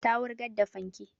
Ta wurgar da fanke